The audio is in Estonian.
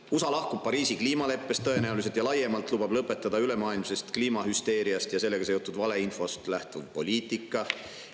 USA lahkub tõenäoliselt Pariisi kliimaleppest ja laiemalt lubab lõpetada ülemaailmsest kliimahüsteeriast ja sellega seotud valeinfost lähtuva poliitika.